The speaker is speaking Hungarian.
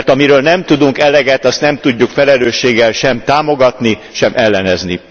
Mert amiről nem tudunk eleget, azt nem tudjuk felelősséggel sem támogatni, sem ellenezni.